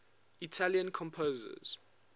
italian composers